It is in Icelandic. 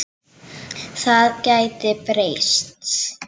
Það gæti breyst.